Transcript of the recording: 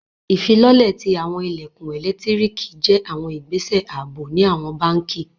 Ifilọlẹ̀ ti awọn ilẹ̀kun ẹ̀lẹ́ktríkì jẹ̀ awọn ìgbẹ̀sẹ̀ àabò ni awọn bánkì.